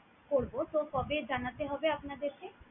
করবো। তো কবে জানাতে হবে আপনাদের কে?